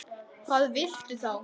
Hvað viltu þá?